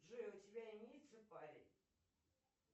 джой у тебя имеется парень